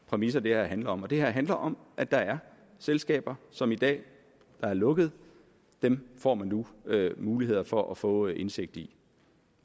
præmisser det her handler om det her handler om at der er selskaber som i dag er lukkede dem får man nu mulighed for at få indsigt i